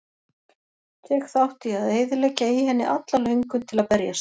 Tek þátt í að eyðileggja í henni alla löngun til að berjast.